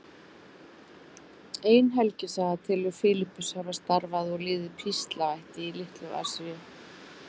Ein helgisaga telur Filippus hafa starfað og liðið píslarvætti í Litlu-Asíu.